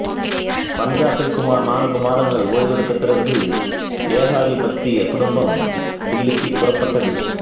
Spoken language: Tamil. பஞ்சாபில் சுமார் நான்கு மாதங்கள் ஓய்வெடுத்த பிறகு ஏகாதிபத்திய குடும்பம் தில்லிக்கு புறப்பட்டது